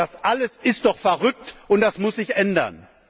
Das alles ist doch verrückt, und das muss sich ändern!